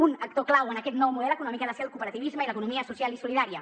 un actor clau en aquest nou model econòmic ha de ser el cooperativisme i l’economia social i solidària